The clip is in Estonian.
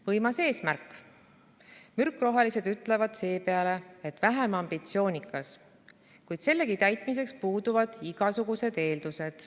Võimas eesmärk, mürkrohelised ütlevad seepeale, et väheambitsioonikas, kuid sellegi täitmiseks puuduvad igasugused eeldused.